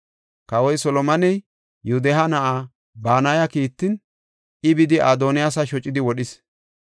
Kawoy Solomoney Yoodahe na7a Banaya kiittin, I bidi Adoniyaasa shocidi wodhis.